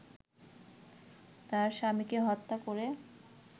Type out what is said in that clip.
তার স্বামীকে হত্যা করে